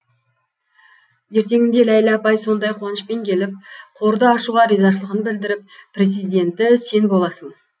ертеңінде ләйлә апай сондай қуанышпен келіп қорды ашуға ризашылығын білдіріп президенті сен боласың